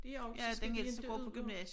Det også så skal de ikke ud på